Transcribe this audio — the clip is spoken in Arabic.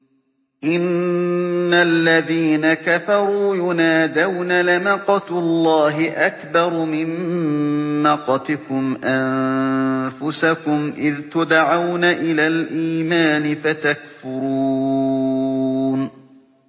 إِنَّ الَّذِينَ كَفَرُوا يُنَادَوْنَ لَمَقْتُ اللَّهِ أَكْبَرُ مِن مَّقْتِكُمْ أَنفُسَكُمْ إِذْ تُدْعَوْنَ إِلَى الْإِيمَانِ فَتَكْفُرُونَ